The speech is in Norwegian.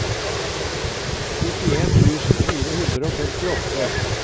nittien tusen fire hundre og femtiåtte